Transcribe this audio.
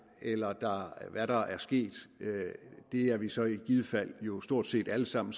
eller hvad der er sket er vi så i givet fald jo stort set alle sammen